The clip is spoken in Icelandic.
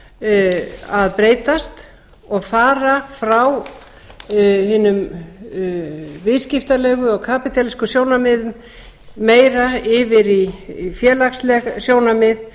áherslur að breytast og fara frá hinum viðskiptalegu og kapítalíska sjónarmiðum meira yfir í félagsleg sjónarmið